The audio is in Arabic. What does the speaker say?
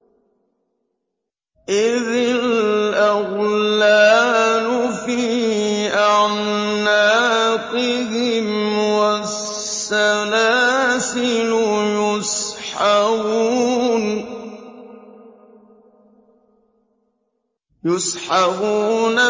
إِذِ الْأَغْلَالُ فِي أَعْنَاقِهِمْ وَالسَّلَاسِلُ يُسْحَبُونَ